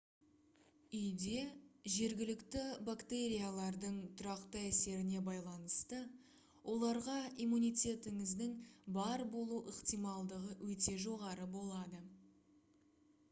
үйде жергілікті бактериялардың тұрақты әсеріне байланысты оларға иммунитетіңіздің бар болу ықтималдығы өте жоғары болады